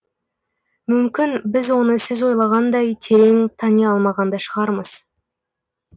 мүмкін біз оны сіз ойлағандай терең тани алмаған да шығармыз